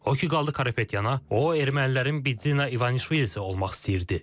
O ki qaldı Karapetyana, o ermənilərin Bidzina İvanişvili'si olmaq istəyirdi.